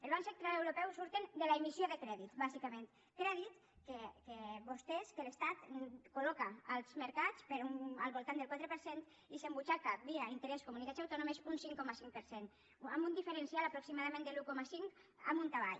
al banc central europeu surten de l’emissió de crèdit bàsicament crèdit que vostès que l’estat col·loca als mercats per al voltant del quatre per cent i s’embutxaca via interès comunitats autònomes un cinc coma cinc per cent amb un diferencial aproximadament de l’un coma cinc amunt avall